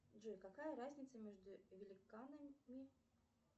джой какая разница между великанами